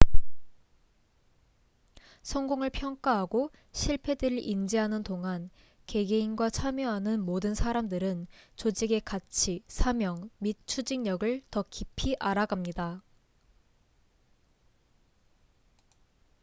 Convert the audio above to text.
성공을 평가하고 실패들을 인지하는 동안 개개인과 참여하는 모든 사람들은 조직의 가치 사명 및 추진력을 더 깊이 알아갑니다